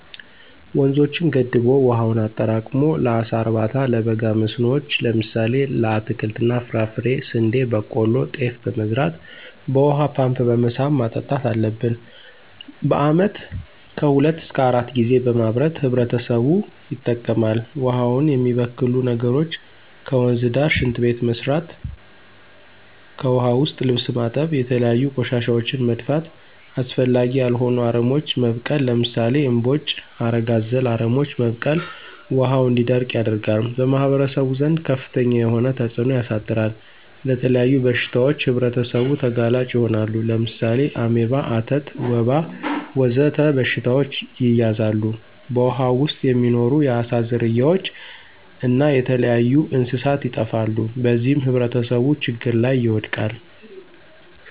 ወንዞችን ገድቦ ዉሀውን አጠራቅሞ ለአሳ እርባታ፣ ለበጋ መስኖዎች ለምሳሌ ለአትክልት እና ፍራፍሬ፣ ስንዴ፣ በቆሎ፣ ጤፍ በመዝራት በውሃ ፓምፕ በመሳብ ማጠጣት አለብን። በአመት ከሁለት እሰከ አራት ጊዜ በማምረት ህብረተሰቡ ይጠቀማል። ውሃውን የሚበክሉ ነገሮች ከወንዝ ዳር ሽንት ቤት መስራት። ከዉሀ ዉስጥ ልብስ ማጠብ፣ የተለያዩ ቆሻሻወችን መድፋት፣ አስፈላጊ ያልሆኑ አረሞች መብቀል ለምሳሌ እምቦጭ፣ ሀረግ አዘል አረሞች መብቀል ውሀው እንዲደርቅ ያደርጋል። በማህበረሰቡ ዘንድ ከፍተኛ የሆነ ተፅእኖ ያሳድራል። ለተለያዩ በሽታዎች ህብረተሰቡ ተጋላጭ ይሆናሉ። ለምሳሌ አሜባ፣ አተት፣ ወባ ወዘተ በሽታዎች ይያዛሉ። በውሃው ዉስጥ የሚኖሩ የአሳ ዝርያዎች እና የተለያዩ እንስሳት ይጠፋሉ። በዚህም ህብረተሰቡ ችግር ላይ ይወድቃል።